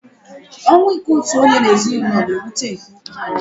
Ọnwụ ike otu onye n'ezinụlọ na-ewute nke ukwu